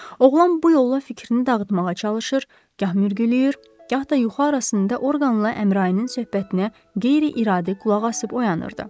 Oğlan bu yolla fikrini dağıtmağa çalışır, gah mürgüləyir, gah da yuxu arasında orqanla Əmrayinin söhbətinə qeyri-iradə qulaq asıb oyanırdı.